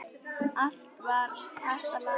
Allt var hægt að laga.